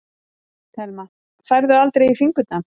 Telma: Færðu aldrei í fingurna?